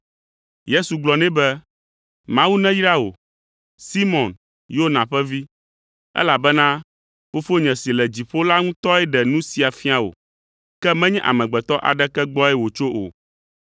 Yesu gblɔ nɛ be, “Mawu neyra wò, Simɔn Yona ƒe vi, elabena Fofonye si le dziƒo la ŋutɔe ɖe nu sia fia wò, ke menye amegbetɔ aɖeke gbɔe wòtso o.